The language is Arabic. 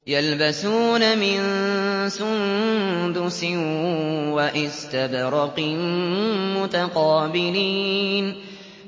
يَلْبَسُونَ مِن سُندُسٍ وَإِسْتَبْرَقٍ مُّتَقَابِلِينَ